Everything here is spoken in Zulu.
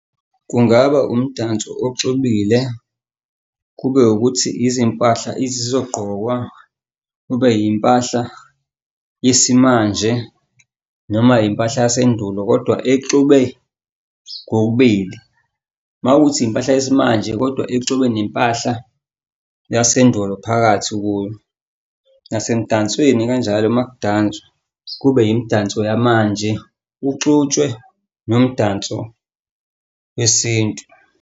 Kungaba umdanso oxubile, kube ukuthi izimpahla ezizogqokwa, kube yimpahla yesimanje noma yimpahla yasendulo kodwa exube kokubili. Uma kuwukuthi impahla yesimanje, kodwa exube nempahla yasendulo phakathi kuyo. Nasemdansweni kanjalo uma kudanswa kube yimdanso yamanje, kuxutshwe nomdanso wesintu.